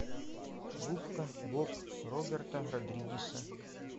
губка боб роберта родригеса